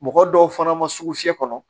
Mɔgɔ dɔw fana ma sugu fiyɛ fana